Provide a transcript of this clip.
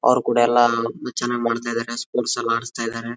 ಅವ್ರು ಕೂಡ ಎಲ್ಲ ಚೆನ್ನಾಗ್ ಮಾಡ್ತಾ ಇದ್ದಾರೆ ಸ್ಪೋರ್ಟ್ಸ್ ಮಾಡ್ತಾ ಇದ್ದಾರೆ. ಎಲ್ಲ ಆಡಿಸ್ತಾ ಇದಾರೆ.